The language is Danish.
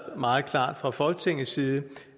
meget klart fra folketingets side